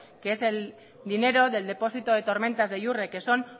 que es el dinero del depósito de tormentas de yurre que son